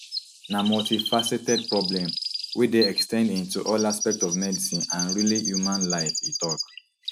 na multifaceted problem wey dey ex ten d into all aspects of medicine and really human life e tok